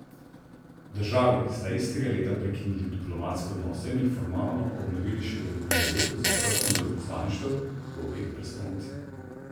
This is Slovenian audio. Državi sta istega leta prekinili diplomatske odnose in jih formalno obnovili šele julija letos z odprtjem veleposlaništev v obeh prestolnicah.